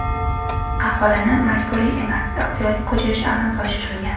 Aholini majburiy emas, ixtiyoriy ko‘chirish amalga oshirilgan.